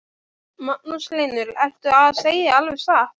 Magnús Hlynur: Ertu að segja alveg satt?